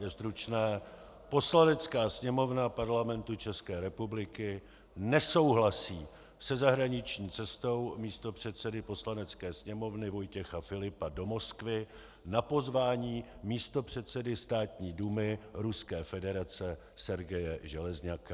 Je stručné: "Poslanecká sněmovna Parlamentu České republiky nesouhlasí se zahraniční cestou místopředsedy Poslanecké sněmovny Vojtěcha Filipa do Moskvy na pozvání místopředsedy Státní dumy Ruské federace Sergeje Železňaka."